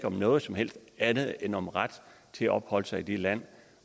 om noget som helst andet end om ret til at opholde sig i det land